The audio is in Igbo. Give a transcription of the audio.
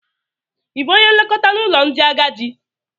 Ị bụ onye nlekọta n'ụlọ ndị agadi?